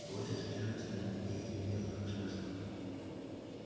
больше задерживаться не имело смысла